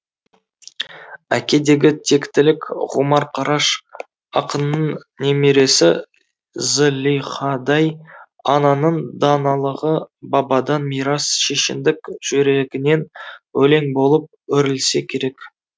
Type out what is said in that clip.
әкедегі тектілік ғұмар қараш ақынның немересі зылихадай ананың даналығы бабадан мирас шешендік жүрегінен өлең болып өрілсе керек